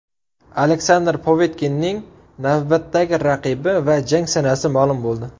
Aleksandr Povetkinning navbatdagi raqibi va jang sanasi ma’lum bo‘ldi.